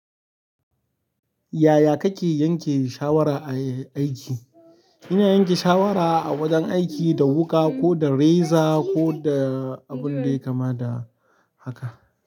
Yaya kake yanke shawara a aiki? Ina yanke shawara a wajen aiki da wuƙa ko da reza ko da abun da ya kamata da haka.